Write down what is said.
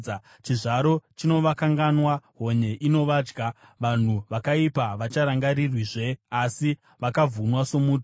Chizvaro chinovakanganwa, honye inovadya; vanhu vakaipa havacharangarirwizve asi vakavhunwa somuti.